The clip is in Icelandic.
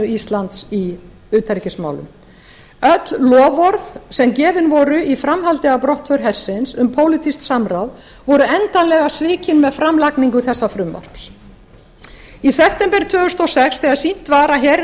íslands í utanríkismálum öll loforð sem gefin voru í framhaldi af brottför hersins um pólitískt samráð voru endanlega svikin með framlagningu þessa frumvarps í september tvö þúsund og sex þegar sýnt var að herinn